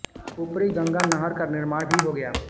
ऊपरी गंगा नहर का निर्माण भी हो गया